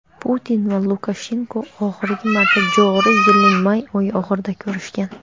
Putin va Lukashenko oxirgi marta joriy yilning may oyi oxirida ko‘rishgan.